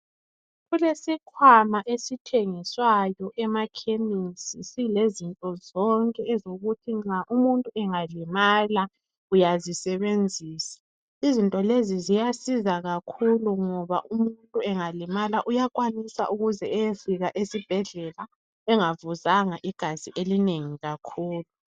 Kulesikhwama esithengiswayo emakhemesi silezinto zonke ezokuthi nxa umuntu engalimala uyazisebenzisa, izinto lezi ziyasiza kakhulu ngoba umuntu engalimala uyakwanisa ukuze eyefika esibhedlela engavuzanga igazi elinengi kakhulu.